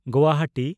Guwahati